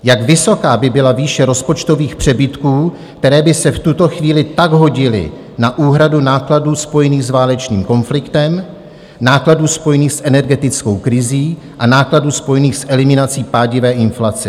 Jak vysoká by byla výše rozpočtových přebytků, které by se v tuto chvíli tak hodily na úhradu nákladů spojených s válečným konfliktem, nákladů spojených s energetickou krizí a nákladů spojených s eliminací pádivé inflace?